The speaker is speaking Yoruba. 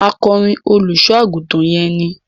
Akọrin olùṣọ àgùntàn yẹn ni.